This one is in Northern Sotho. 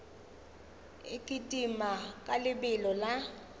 e kitima ka lebelo la